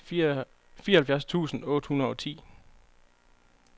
treogfirs tusind otte hundrede og ti